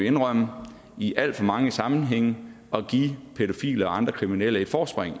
indrømme i alt for mange sammenhænge at give pædofile og andre kriminelle et forspring